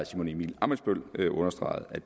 simon emil ammitzbøll understregede